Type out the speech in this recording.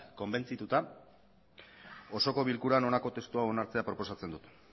konbentzituta osoko bilkurak honako testu hau onartzea proposatzen du